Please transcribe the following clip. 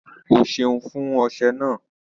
Ọ́ sẹun fún ọṣẹ̀ ná.